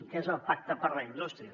que és el pacte per a la indústria